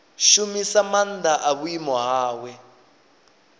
shumisa maanḓa a vhuimo hawe